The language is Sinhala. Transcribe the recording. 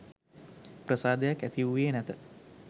ප්‍රසාදයක් ඇති වූයේ නැත.